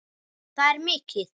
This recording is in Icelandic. Það er mikið.